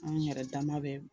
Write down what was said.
An yɛrɛ dama bɛ